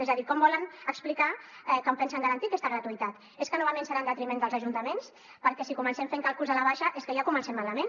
és a dir com volen explicar com pensen garantir aquesta gratuïtat és que novament serà en detriment dels ajuntaments perquè si comencem fent càlculs a la baixa és que ja comencem malament